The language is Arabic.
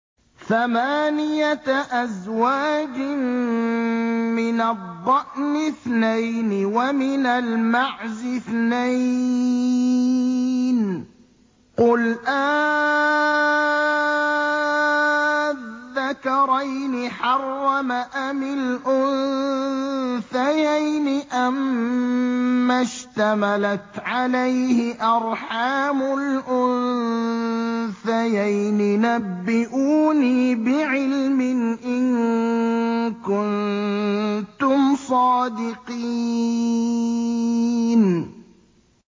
ثَمَانِيَةَ أَزْوَاجٍ ۖ مِّنَ الضَّأْنِ اثْنَيْنِ وَمِنَ الْمَعْزِ اثْنَيْنِ ۗ قُلْ آلذَّكَرَيْنِ حَرَّمَ أَمِ الْأُنثَيَيْنِ أَمَّا اشْتَمَلَتْ عَلَيْهِ أَرْحَامُ الْأُنثَيَيْنِ ۖ نَبِّئُونِي بِعِلْمٍ إِن كُنتُمْ صَادِقِينَ